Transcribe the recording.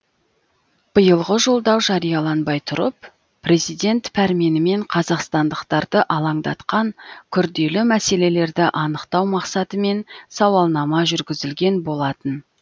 биылғы жолдау жарияланбай тұрып президент пәрменімен қазақстандықтарды алаңдатқан күрделі мәселелерді анықтау мақсатымен сауалнама жүргізілген болатын